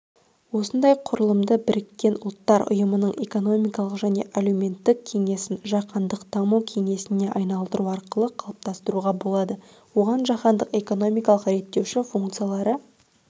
ондай құрылымды біріккен ұлттар ұйымының экономикалық және әлеуметтік кеңесін жаһандық даму кеңесіне айналдыру арқылы қалыптастыруға болады оған жаһандық экономикалық реттеуші функциялары